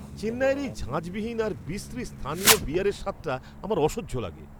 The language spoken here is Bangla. চেন্নাইয়ের এই ঝাঁঝবিহীন আর বিশ্রী স্থানীয় বিয়ারের স্বাদটা আমার অসহ্য লাগে!